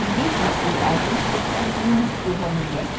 Limite-se a respeitar muito uma mulher.